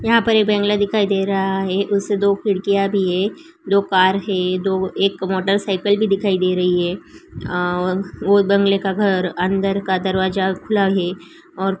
यहाँ पर एक बंगला दिखाई दे रहा है उसे दो खिड़कियाँ भी हैं दो कार है दो एक मोटरसाइकल भी दिखाई दे रही है आ वो बंगले का घर अंदर का दरवाजा खुला है और --